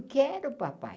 Quero, papai.